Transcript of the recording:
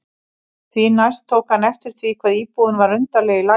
Því næst tók hann eftir því hvað íbúðin var undarleg í laginu.